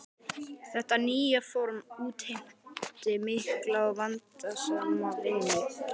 Þetta nýja form útheimti mikla og vandasama vinnu.